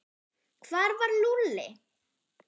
Hvar var Lúlli?